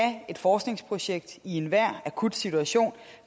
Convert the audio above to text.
et forskningsprojekt i enhver akut situation